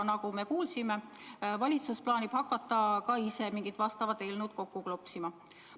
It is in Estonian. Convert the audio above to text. Nagu me kuulsime, plaanib valitsus ka ise hakata mingisugust eelnõu kokku klopsima.